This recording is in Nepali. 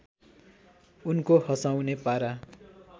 उनको हँसाउने पारा